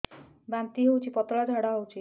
ବାନ୍ତି ହଉଚି ପତଳା ଝାଡା ହଉଚି